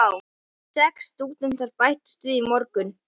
Sex stúdentar bættust við í morgun.